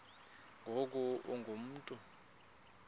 ngoku ungu mntu